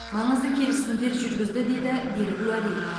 маңызды келісімдер жүргізді деді берік уәли